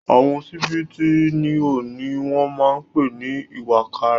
Àwọn ṣíbí tí ó níhò ni wọ́n máa ń pè ní ìwàkàrà.